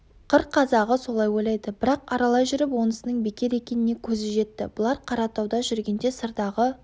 қыр қазағы солай ойлайды бірақ аралай жүріп онысының бекер екеніне көзі жетті бұлар қаратауда жүргенде сырдағы